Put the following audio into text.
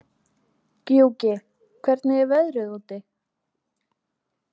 Gjúki, hvernig er veðrið úti?